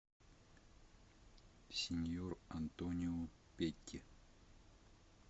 синьор антонио петти